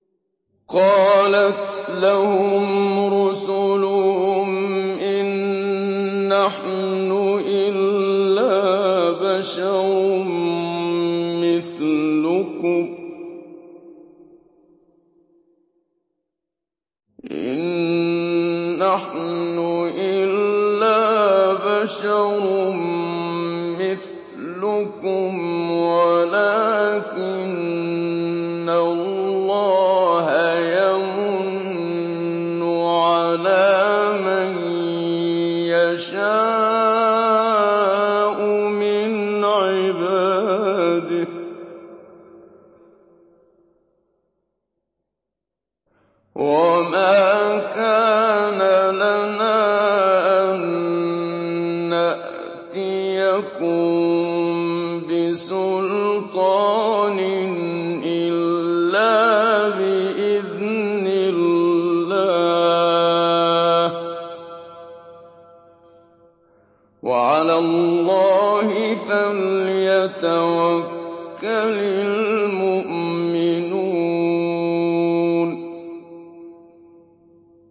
قَالَتْ لَهُمْ رُسُلُهُمْ إِن نَّحْنُ إِلَّا بَشَرٌ مِّثْلُكُمْ وَلَٰكِنَّ اللَّهَ يَمُنُّ عَلَىٰ مَن يَشَاءُ مِنْ عِبَادِهِ ۖ وَمَا كَانَ لَنَا أَن نَّأْتِيَكُم بِسُلْطَانٍ إِلَّا بِإِذْنِ اللَّهِ ۚ وَعَلَى اللَّهِ فَلْيَتَوَكَّلِ الْمُؤْمِنُونَ